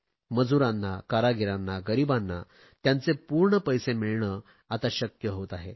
मजूरांना कारागिरांना गरीबांना त्यांचे पूर्ण पैसे मिळणे आता शक्य होते आहे